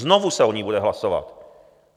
Znovu se o ní bude hlasovat.